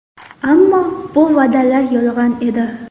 Ammo bu va’dalar yolg‘on edi.